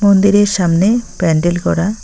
মন্দিরের সামনে প্যান্ডেল করা।